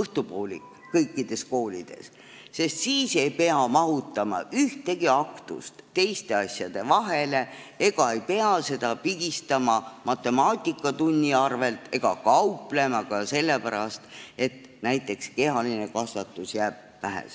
õhtupoolik, siis ei pea ühtegi aktust teiste asjade vahele mahutama, ei pea seda kuhugi matemaatikatunni arvel pigistama ega kauplema selle pärast, et näiteks kehalise kasvatuse jaoks jääb aega väheks.